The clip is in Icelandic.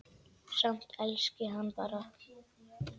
Samt elski hann hana.